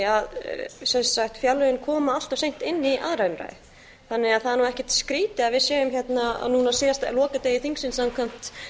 að fjárlögin koma allt of seint inn í annarri umræðu þannig að það er nú ekkert skrýtið að við séum hérna núna á lokadegi þingsins samkvæmt